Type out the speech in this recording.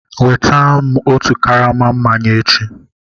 Nweta m otu karama mmanya echi